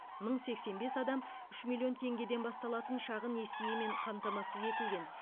мың сексен бес адам үш миллион теңгеден басталатын шағын несиемен қамтамасыз етілген